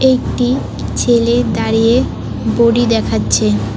একটি ছেলে দাঁড়িয়ে বোডি দেখাচ্ছে।